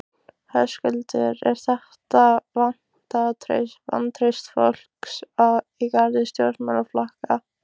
Höskuldur: Er þetta vantraust fólks í garð stjórnmálaflokka?